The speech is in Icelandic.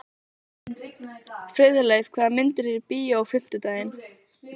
Friðleif, hvaða myndir eru í bíó á fimmtudaginn?